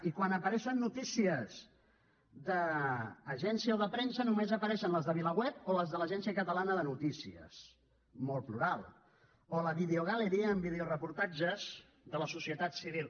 i quan apareixen notícies d’agència o de premsa només apareixen les de vilaweb o les de l’agència catalana de notícies molt plural o la videogaleria amb videoreportatges de la societat civil